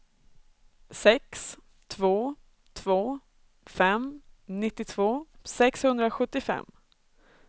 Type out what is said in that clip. sex två två fem nittiotvå sexhundrasjuttiofem